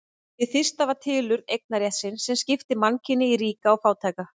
Hið fyrsta var tilurð eignarréttarins sem skipti mannkyni í ríka og fátæka.